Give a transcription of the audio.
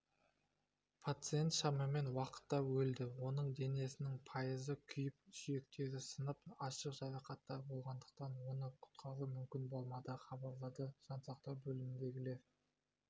пациент шамамен уақытта өлді оның денесінің пайызы күйіп сүйектері сынып ашық жарақаттар болғандықтан оны құтқару мүмкін болмады хабарлады жансақтау бөліміндегілер